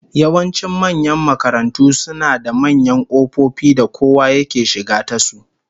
Yawancin manyan makarantu suna da manyan kofofi da kowa yake shiga tasu